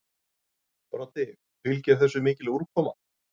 Broddi: Fylgir þessu mikil úrkoma?